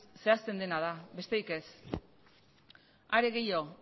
zehazten dena da besterik ez are gehiago